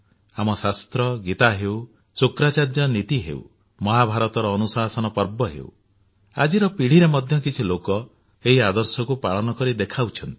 ଆମ ଶାସ୍ତ୍ର ଗୀତା ହେଉ ଶୁକ୍ରାଚାର୍ଯ୍ୟଙ୍କ ନୀତି ହେଉ ମହାଭାରତର ଅନୁଶାସନ ପର୍ବ ହେଉ ଆଜିର ପିଢ଼ିରେ ମଧ୍ୟ କିଛି ଲୋକ ଏହି ଆଦର୍ଶକୁ ପାଳନ କରି ଦେଖାଉଛନ୍ତି